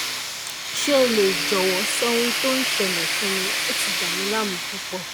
ṣé o lè jọ̀wọ́ sọ ohun tó ń ṣẹlẹẹ̀ fún mi? ó ti dàmí láàmú púpọ̀